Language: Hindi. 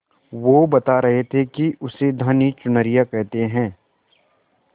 वो बता रहे थे कि उसे धानी चुनरिया कहते हैं